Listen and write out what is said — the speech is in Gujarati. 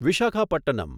વિશાખાપટ્ટનમ